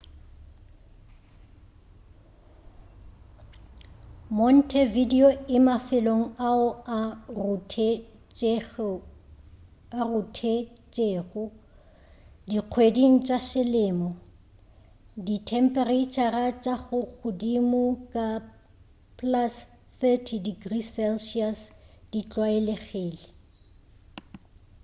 montevideo e mafelong ao a ruthetšego; dikgweding tša selemo dithemphereitšhara tša ka godimo ga +30°c di tlwaelegile